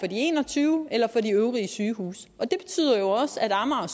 de en og tyve eller for de øvrige sygehuse det betyder jo også at amager